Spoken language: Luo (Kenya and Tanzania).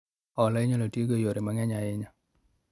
Hola inyalo tigo e yore mang'eny ahinya